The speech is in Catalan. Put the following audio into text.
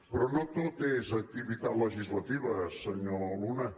però no tot és activitat legislativa senyor luna